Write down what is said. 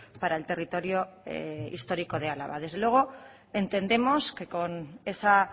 para el territorio histórico de álava desde luego entendemos que con esa